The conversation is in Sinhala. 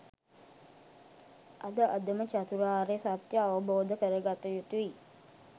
අද අදම චතුරාර්ය සත්‍යය අවබෝධ කරගත යුතුයි